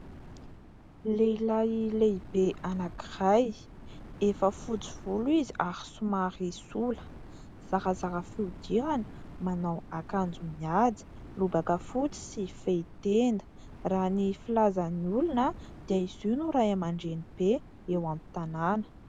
Lehilahy lehibe anankiray efa fotsy volo izy ary somary sola, zarazara fihodirana, manao akanjo mihaja lobaka fotsy sy fehi-tenda, raha ny filazan'ny olona dia izy no ray aman-dreny be eo amin'ny tanàna.